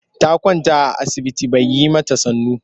Ta kwanta a asibiti ba ya yi mata sannu.